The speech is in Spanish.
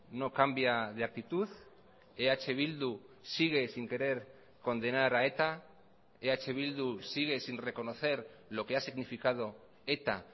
no cambia de actitud eh bildu sigue sin querer condenar a eta eh bildu sigue sin reconocer lo que ha significado eta